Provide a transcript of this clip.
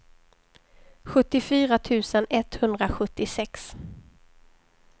sjuttiofyra tusen etthundrasjuttiosex